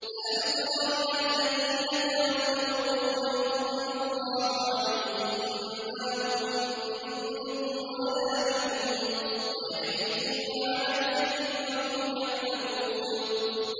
۞ أَلَمْ تَرَ إِلَى الَّذِينَ تَوَلَّوْا قَوْمًا غَضِبَ اللَّهُ عَلَيْهِم مَّا هُم مِّنكُمْ وَلَا مِنْهُمْ وَيَحْلِفُونَ عَلَى الْكَذِبِ وَهُمْ يَعْلَمُونَ